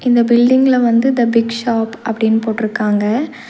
இந்த பில்டிங்ல வந்து த பிக் ஷாப் அப்டின் போட்ருக்காங்க.